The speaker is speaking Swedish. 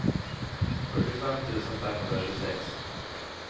fyrtiofem tusen femhundratjugosex